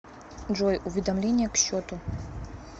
джой уведомления к счету